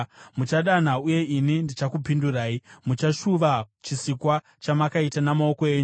Muchadana uye ini ndichakupindurai; muchashuva chisikwa chamakaita namaoko enyu.